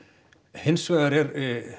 hins vegar er